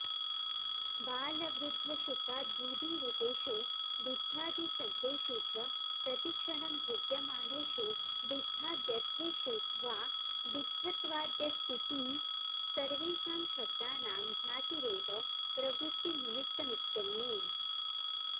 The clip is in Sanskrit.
बालवृद्धशुकाद्युदीरितेषु डित्थादिशब्देषु च प्रतिक्षणं भिद्यमानेषु डित्थाद्यर्थेषु वा डित्थत्वाद्यस्तीति सर्वेषां शब्दानां जातिरेव प्रवृत्तिनिमित्तमित्यन्ये